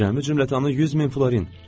Cəmi cümlətanı 100 min florin.